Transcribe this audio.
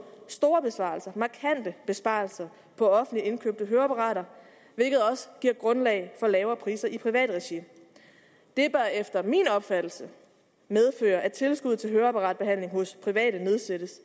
store og markante besparelser på offentligt indkøbte høreapparater hvilket også giver grundlag for lavere priser i privat regi det bør efter min opfattelse medføre at tilskuddet til høreapparatbehandling hos private nedsættes